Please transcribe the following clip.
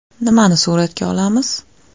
Nimani suratga olamiz?